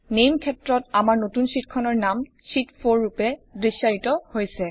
নামে ক্ষেত্ৰত আমাৰ নতুন শ্বিটখনৰ নাম শীত 4 ৰূপে দৃশ্যায়িত হৈছে